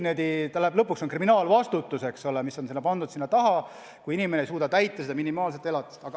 Ja lõpuks on kriminaalvastutus, eks ole, mis järgneb, kui inimene ei suuda maksta seda minimaalset elatist.